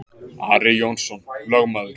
Ari Jónsson lögmaður